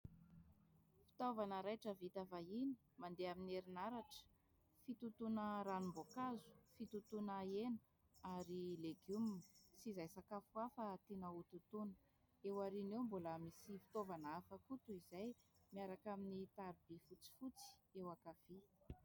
Fitaovana raitra vita vahiny mandeha amin'ny herinaratra. Fitotoana ranom-boankazo, fitotoana hena ary legioma sy izay sakafo hafa tiana ho totoina. Eo aoriana eo mbola misy fitaovana hafa koa toa izay, miaraka amin'ny taroby fotsifotsy eo ankavia.